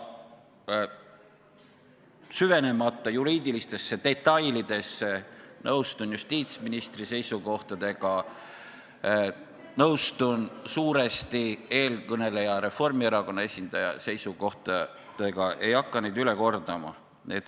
Süvenemata juriidilistesse detailidesse, nõustun justiitsministri seisukohtadega, nõustun suuresti eelkõneleja, Reformierakonna esindaja seisukohtadega, ei hakka neid üle kordama.